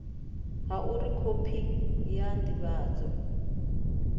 ha uri khophi ya ndivhadzo